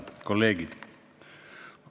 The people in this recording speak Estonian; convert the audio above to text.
Head kolleegid!